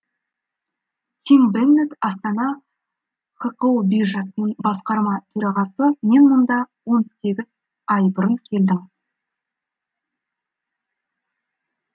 тим беннетт астана хқо биржасының басқарма төрағасы мен мұнда он сегіз ай бұрын келдім